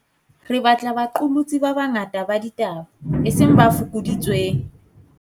Re batla baqolotsi ba banga ta ba ditaba, eseng ba fokoditsweng.